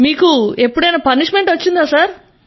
మీకు ఎప్పుడైనా దండన పనిష్మెంట్ లభించిందా